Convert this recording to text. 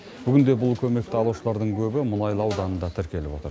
бүгінде бұл көмекті алушылардың көбі мұнайлы ауданында тіркеліп отыр